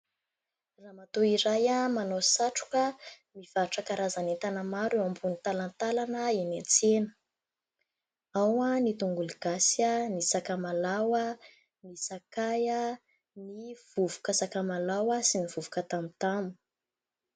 Ramatoa iray manao satroka, mivarotra karazan'entana maro eo ambony talantalana eny an-tsena. Ao ny tongolo gasy, ny sakamalaho, ny sakay, ny vovoka sakamalaho sy ny vovoka tamotamo.